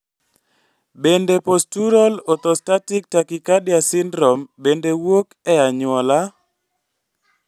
Bende postural orthostatic tachycardia syndrome bende wuok e anyuola?